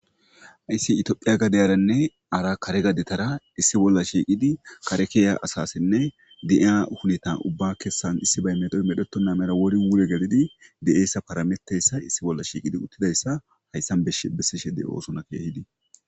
Hayssi itiophiya gadeyaranne ara kare gadetara issi bolla shiiqidi kare keeya asasinne di'a hunitan ubba kessan issi baymedoy medhetonna mera wori wure gelidi de'eessa parameteyssa issi bolla shiiqidi uttidayssa hayssan bsh bessishede oosona keehidi